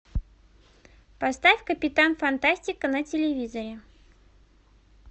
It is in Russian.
поставь капитан фантастика на телевизоре